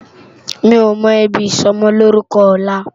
Mi ó mò ibi isòmòlórúkò òlá